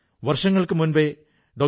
വർഷങ്ങൾക്കു മുമ്പേ ഡോ